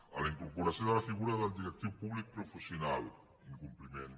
a la incorporació de la figura del directiu públic professional incompliment